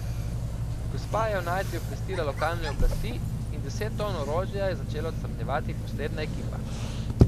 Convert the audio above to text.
Gospa je o najdbi obvestila lokalne oblasti in deset ton orožja je začela odstranjevati posebna ekipa.